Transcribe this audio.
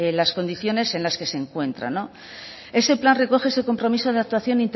las condiciones en las que se encuentra ese plan recoge ese compromiso de actuación